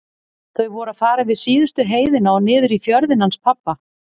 Þau voru að fara yfir síðustu heiðina og niður í fjörðinn hans pabba.